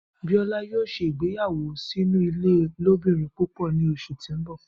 Biola yoo se ìgbéyáwọ́ sinu ile ilobirin púpọ ni oṣu ti n bọ.